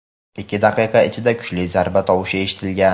ikki daqiqa ichida kuchli zarba tovushi eshitilgan.